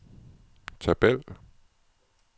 tabel